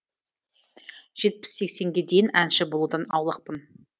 жетпіс сексенге дейін әнші болудан аулақпын